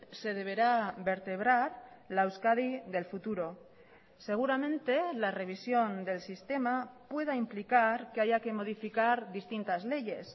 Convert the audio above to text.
se deberá vertebrar la euskadi del futuro seguramente la revisión del sistema pueda implicar que haya que modificar distintas leyes